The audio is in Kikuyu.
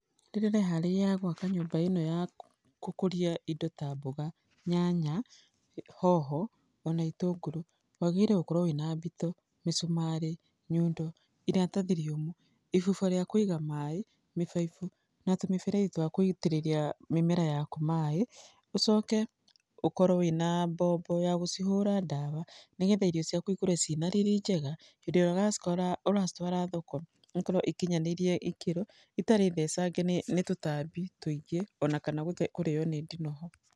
Rĩrĩa ũreharĩria gwaka nyũmba ĩno ya gũkũria indo ta mboga, nyanya, hoho, ona itũngũrũ, wagĩrĩirũo gũkorwo wĩna mbito, mĩcumarĩ, nyundo iratathi rĩũmũ, ibuba rĩa kũiga maĩ, mĩbaibũ na tũmĩberethi twa gũitĩrĩria mĩmera yaku maĩ. Ũcoke ũkorwo wĩna mbombo ya gũcihũra ndawa nĩgetha irio ciaku ikũre ciĩna riri njega. Hĩndĩ ĩrĩa ũracitwara thoko, ikorwo ikinyanĩire ikĩro, itarĩ thecange nĩ tũtambi tũingĩ ona kana kũrĩo nĩ ndinoho.